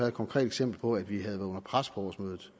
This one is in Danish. et konkret eksempel på at vi havde været under pres på årsmødet